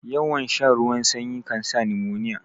Yawan shan ruwan sanyi kansa nimoniya